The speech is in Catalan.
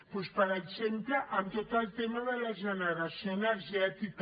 doncs per exemple en tot el tema de la generació energètica